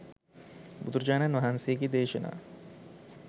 බුදුරජාණන් වහන්සේගේ දේශනා